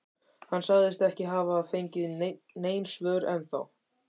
Hann sagðist ekki hafa fengið nein svör ennþá.